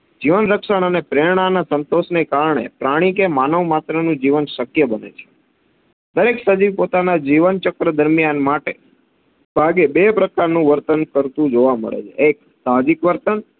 જીવન રક્ષક અને પ્રેરણાના સંતોષના કારણે પ્રાણી કે માનવ માત્રનું જીવન શક્ય બને છે. દરેક સજીવ પોતાના જીવન ચક્ર દરમિયાન માટે ભાગે બે પ્રાક્રનું વર્તન કરતું જોવા મડે છે એક સાહજીક વર્તન